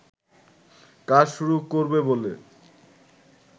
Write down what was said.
কাজ শুরু করবে বলে